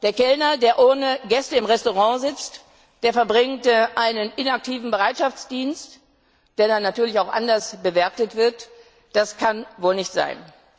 Der Kellner, der ohne Gäste im Restaurant sitzt, verbringt einen inaktiven Bereitschaftsdienst, der dann natürlich auch anders bewertet wird das kann wohl nicht sein!